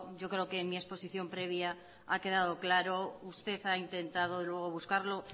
yo creo que en mi exposición previa ha quedado claro usted ha intentado luego buscarlo